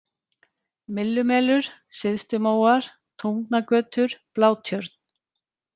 Myllumelur, Syðstumóar, Tungnagötur, Blátjörn